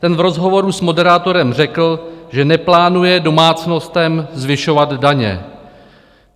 Ten v rozhovoru s moderátorem řekl, že neplánuje domácnostem zvyšovat daně.